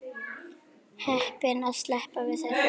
Heppin að sleppa við þær.